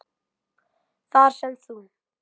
Þar sem þú